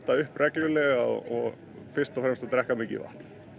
upp reglulega og fyrst og fremst að drekka mikið vatn